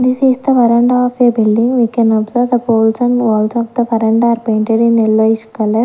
This is the veranda of a building we can observe the halls and walls are painted in yellowish color.